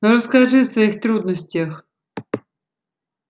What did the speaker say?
но расскажи о своих трудностях